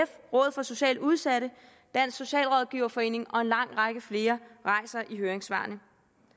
rådet for socialt udsatte dansk socialrådgiverforening og en lang række flere rejser i høringssvarene